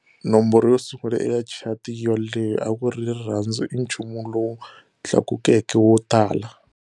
Nomboro yo sungula eka chati yoleyo a ku ri" Rirhandzu I Nchumu lowu Tlakukeke wo Tala".